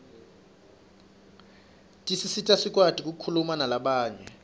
tisisita sikwati kukhulumanalabanye